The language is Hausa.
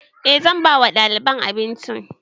E zan ba wa ɗaliban abinci